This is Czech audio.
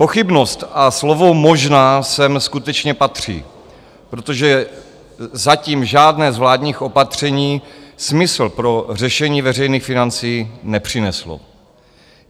Pochybnost a slovo "možná" jsem skutečně patří, protože zatím žádné z vládních opatření smysl pro řešení veřejných financí nepřineslo.